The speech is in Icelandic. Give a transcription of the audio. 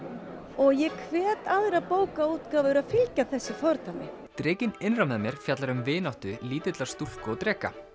og ég hvet aðrar bókaútgáfur til að fylgja þessu fordæmi drekinn innra með mér fjallar um vináttu lítillar stúlku og dreka